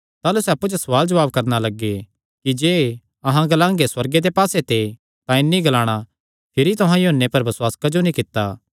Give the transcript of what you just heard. ताह़लू सैह़ अप्पु च सवाल जवाब करणा लग्गे कि जे अहां ग्लांगे सुअर्गे दे पास्से ते तां इन्हीं ग्लाणा भिरी तुहां यूहन्ने पर बसुआस क्जो नीं कित्ता